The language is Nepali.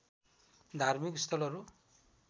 धार्मिक स्थलहरू